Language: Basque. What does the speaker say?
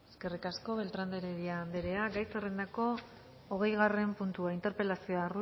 eskerrik asko beltrán de heredia andrea gai zerrendako hogeigarren puntua interpelazioa